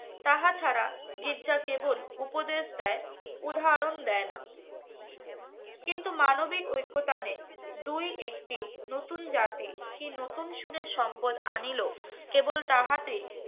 তাহা ছাড়া গির্জা কেবল উপদেশ দেয় উদাহরণ দেয় না কিন্তু মানবিক ঐক্যতা নেই দুই একটি নতুন জাতি কি নতুন সুরের সম্পদ আনিলো কেবল তাহাতে